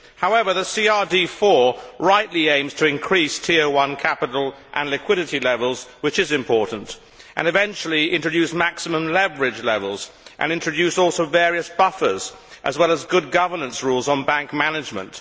However, the CRD IV rightly aims to increase TO1 capital and liquidity levels, which is important, and eventually to introduce maximum leverage levels and also various buffers, as well as good governannce rules on bank management.